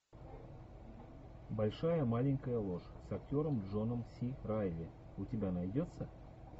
большая маленькая ложь с актером джоном си райли у тебя найдется